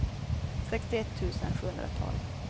sextioett tusen sjuhundratolv